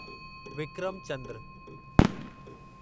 Vikram Chandra